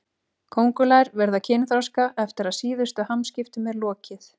Kóngulær verða kynþroska eftir að síðustu hamskiptum er lokið.